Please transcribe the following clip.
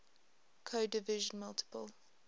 code division multiple